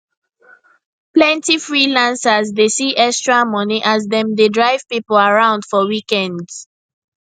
plenty freelancers dey see extra money as dem dey drive people around for weekends